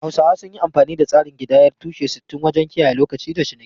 Hausawa sun yi amfani da tsarin kidayar tushe-sittin wajen kiyaye lokaci da ciniki.